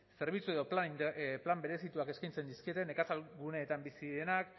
zerbitzu edo plan berezituak eskaintzen dizkieten nekazaritza guneetan bizi direnak